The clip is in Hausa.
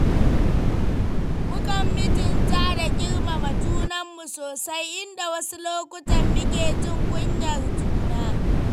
Mukan mutunta da girmama junanmu sosai, inda wasu lokutan muke jin kunyar juna.